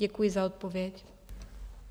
Děkuji za odpověď.